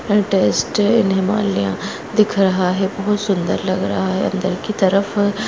latest Himalaya दिख रहा है बहोत सुन्दर लग रहा है अंदर की तरफ --